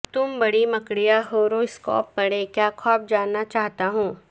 تم بڑی مکڑیاں ہورواسکوپ پڑھیں کیا خواب جاننا چاہتا ہوں